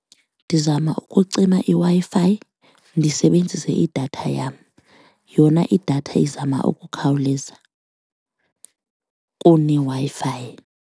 Ndizama ukucima iWi-Fi ndisebenzise idatha yam, yona idatha izama ukukhawuleza kuneWi-Fi.